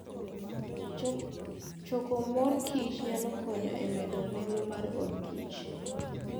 Choko mor kich nyalo konyo e medo nengo mar odkich.